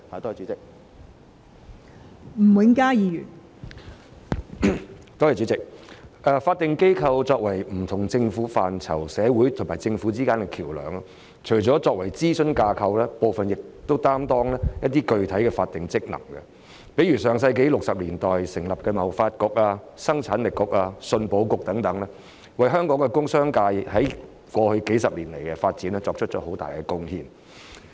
代理主席，法定機構在不同政策範疇中擔當社會與政府之間的橋樑，除了作為諮詢架構外，部分組織亦發揮具體的法定職能，例如在上世紀60年代成立的香港貿易發展局、生產力促進局和出口信用保險局等，在過去數十年為香港工商界的發展作出了很大貢獻。